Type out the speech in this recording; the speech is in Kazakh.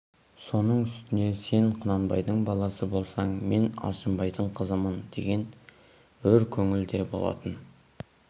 соның үстіне сен құнанбайдың баласы болсаң мен алшынбайдың қызымын деген өр көңіл де болатын